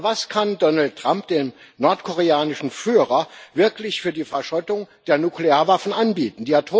Aber was kann Donald Trump dem nordkoreanischen Führer wirklich für die Verschrottung der Nuklearwaffen anbieten?